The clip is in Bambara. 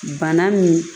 Bana min